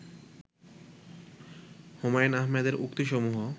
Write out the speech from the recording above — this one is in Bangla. হুমায়ুন আহমেদের উক্তি সমূহ